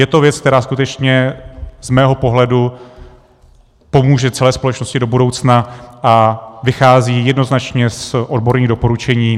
Je to věc, která skutečně z mého pohledu pomůže celé společnosti do budoucna a vychází jednoznačně z odborných doporučení.